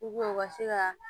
u ka se ka